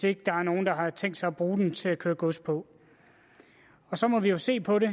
ikke er nogen der har tænkt sig at bruge den til at køre gods på og så må vi jo se på det